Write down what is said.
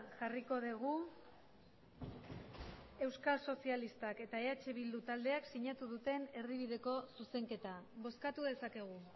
jarriko dugu euskal sozialistak eta eh bildu taldeak sinatu duten erdibideko zuzenketa bozkatu dezakegu